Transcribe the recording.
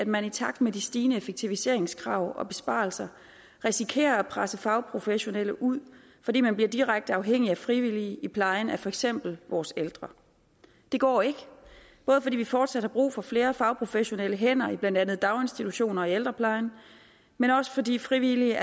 man i takt med de stigende effektiviseringskrav og besparelser risikerer at presse fagprofessionelle ud fordi man bliver direkte afhængig af frivillige i plejen af for eksempel vores ældre det går ikke både fordi vi fortsat har brug for flere fagprofessionelle hænder i blandt andet daginstitutioner og i ældreplejen men også fordi frivillige